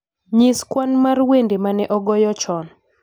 nyis kwan mar wende ma ne ogoye chon